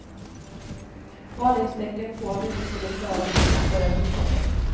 Varningstecken på att de inte skulle klara köpet började hopa sig.